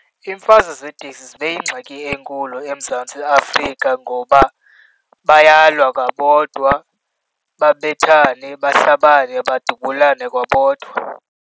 Iimfazwe zeeteksi zibe yingxaki enkulu eMzantsi Afrika ngoba bayalwa kwabodwa, babethane baxabane, badubulane kwabodwa.